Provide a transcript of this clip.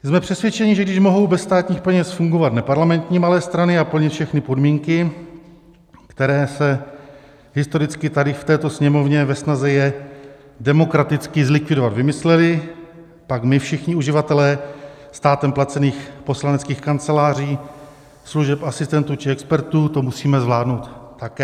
Jsme přesvědčeni, že když mohou bez státních peněz fungovat neparlamentní malé strany a plnit všechny podmínky, které se historicky tady v této Sněmovně ve snaze je demokraticky zlikvidovat vymyslely, pak my všichni uživatelé státem placených poslaneckých kanceláří, služeb asistentů či expertů to musíme zvládnout také.